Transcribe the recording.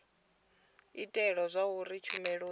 u itela zwauri tshumelo i